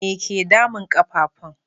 Me ke damun ƙafafun?